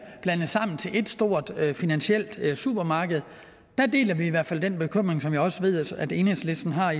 blandet sammen til et stort finansielt supermarked deler vi i hvert fald den bekymring som jeg også ved at enhedslisten har